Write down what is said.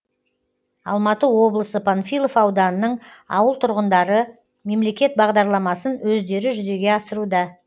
алматы облысы панфилов ауданының ауыл тұрғындары мемлекет бағдарламасын өздері жүзеге асыруда